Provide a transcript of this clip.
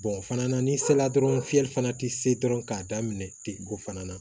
fana na ni sela dɔrɔn fiyɛli fana tɛ se dɔrɔn k'a daminɛ ten ko fana na